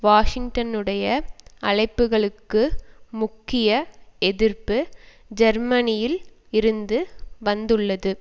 வாஷிங்டனுடைய அழைப்புக்களுக்கு முக்கிய எதிர்ப்பு ஜெர்மனியில் இருந்து வந்துள்ளது